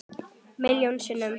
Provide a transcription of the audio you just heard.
Milljón sinnum.